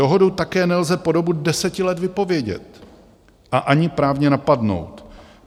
Dohodu také nelze po dobu deset let vypovědět a ani právně napadnout.